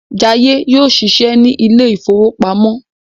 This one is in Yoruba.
Jaiye yóò ṣiṣẹ ní ilè ìfowópamọ́